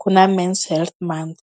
ku na men's health month.